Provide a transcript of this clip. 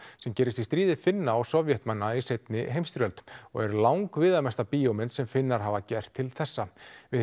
sem gerist í stríði Finna og Sovétmanna í seinni heimsstyrjöld og er langviðamesta bíómynd sem Finnar hafa gert til þessa við